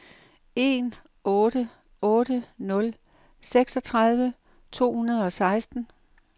en otte otte nul seksogtredive to hundrede og seksten